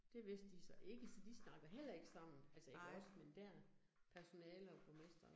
Det vidste de så ikke, så de snakker heller ikke sammen, altså ikke os, men dér personale og borgmester og